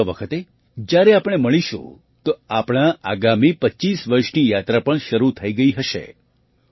આવતા વખતે જ્યારે આપણે મળીશું તો આપણા આગામી ૨૫ વર્ષની યાત્રા પણ શરૂ થઈ ગઈ હશે